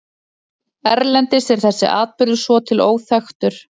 Erlendis er þessi atburður svo til óþekktur.